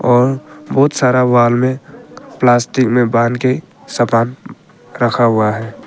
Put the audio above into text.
और बहुत सारा वॉल में प्लास्टिक में बांध के सामान रखा हुआ है।